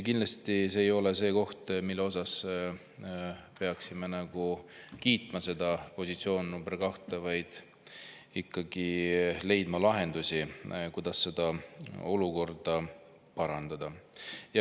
Kindlasti see koht, positsioon nr 2, ei ole selline, mida me peaksime kiitma, vaid peaksime ikkagi leidma lahendusi, kuidas seda olukorda parandada.